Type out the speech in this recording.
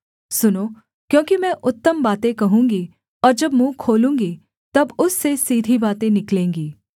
सुनो क्योंकि मैं उत्तम बातें कहूँगी और जब मुँह खोलूँगी तब उससे सीधी बातें निकलेंगी